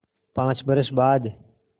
पाँच बरस बाद